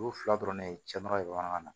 Olu fila dɔrɔn de ye cɛ nɔgɔ ye bamanankan na